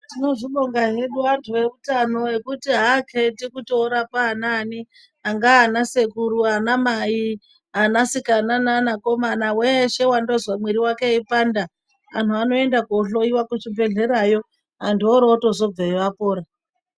Tinozvibonga hedu antu eutano ngekuti akheti kuti orapa anani angana sekuru ana mai anasikana nanakomana weshe wandozwa mwiiri weipanda antu anoenda kuhloyiwa kuchibhehlera antu otozobveyo apora